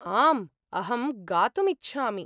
आम्, अहं गातुम् इच्छामि।